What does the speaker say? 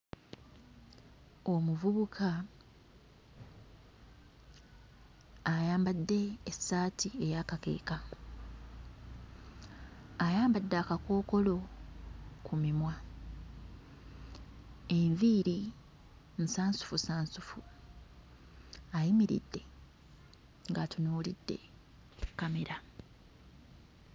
Omuvubuka ayambadde essaati eyakakeeka, ayambadde akakookolo ku mimwa, enviiri nsansufusansufu, ayimiridde ng'atunuulidde kkamera.